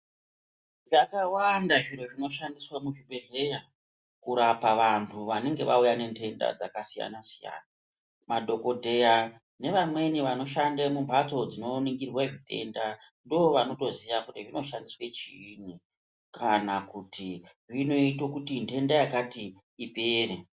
Zvakawanda zviro zvinoshandiswa muzvibhehleya kurapa vantu vanenge vauya nenhenta dzakasiyana-siyana, madhokodheya nevamweni vanoshande mumhatso dzinoningirwa zvitenda ndovanotoziya kuti zvinoshandiswa chiinyi kana kuti zvinoito kuti nhenda yakati ipere.